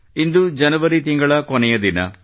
ಇಂದು ಜನವರಿ ತಿಂಗಳ ಕೊನೆಯ ದಿನ